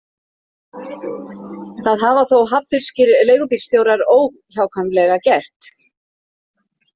Það hafa þó hafnfirskir leigubílstjórar óhjákvæmilega gert.